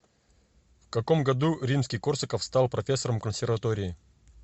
в каком году римский корсаков стал профессором консерватории